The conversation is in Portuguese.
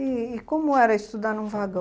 E como era estudar num vagão?